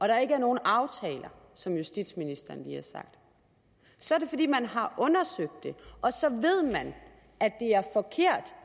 der ikke er nogen aftaler som justitsministeren lige har sagt så er det fordi man har undersøgt det og så ved man at